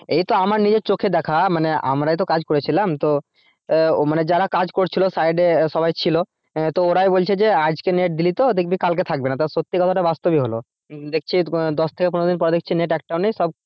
এইতো আমার নিজের চোখের দেখা মানে আমরাই তো কাজ করেছিলাম তো মানে যারা কাজ করছিলো side এ সবাই ছিল তো ওরাই দেখছি বলছে আজকে net দিলি তো দেখবি কালকে থাকবেনা সত্যি কথা তা বাস্তব ই লহো দেখছি দশ থেকে পনেরো দিন দেখছি net একটাও নেই সব,